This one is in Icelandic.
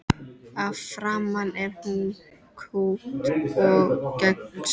Að framan er hún kúpt og gegnsæ.